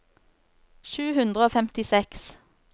sju hundre og femtiseks